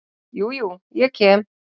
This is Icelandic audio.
Jú, jú, ég kem.